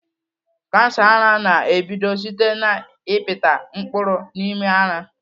Kansa ara na-ebido site n'ịpịta mkpụrụ n'ime ara.